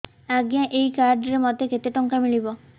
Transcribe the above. ଆଜ୍ଞା ଏଇ କାର୍ଡ ରେ ମୋତେ କେତେ ଟଙ୍କା ମିଳିବ